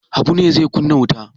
Habu ne zai kunna wuta?